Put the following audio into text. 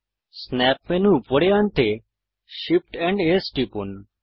snap menu উপরে আনতে Shift amp S টিপুন